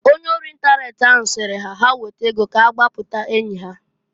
Ọnye ori ịntanet ahụ sịrị ha ha weta ego k'agbaputa enyi ha.